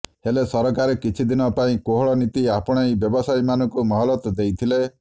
ହେଲେ ସରକାର କିଛିଦିନ ପାଇଁ କୋହଳ ନୀତି ଆପଣେଇ ବ୍ୟବସାୟୀମାନଙ୍କୁ ମହଲତ ଦେଇଥିଲେ